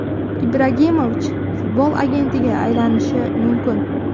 Ibragimovich futbol agentiga aylanishi mumkin.